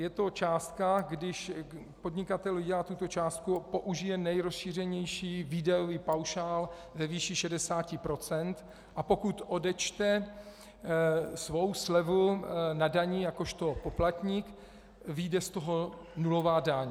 Je to částka, když podnikatel vydělá tuto částku, použije nerozšířenější výdajový paušál ve výši 60 %, a pokud odečte svou slevu na dani jakožto poplatník, vyjde z toho nulová daň.